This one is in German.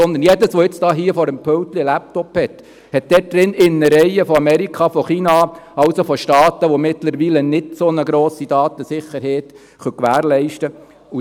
Sondern all jene unter Ihnen, die jetzt vor sich auf dem Pult einen Laptop haben, haben dort drin Innereien aus Amerika, aus China, also aus Staaten, die mittlerweile keine so grosse Datensicherheit gewährleisten können.